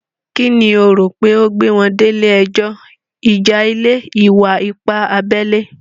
Kí ni o rò pé ó gbé wọn délé ẹjọ́? Ìjà ilẹ̀? Ìwà-ipá abẹ́lé?